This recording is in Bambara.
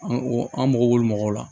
An mago b'olu la